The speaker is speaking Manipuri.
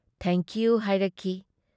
ꯊꯦꯡꯛ ꯌꯨ ꯍꯥꯏꯔꯛꯈꯤ ꯫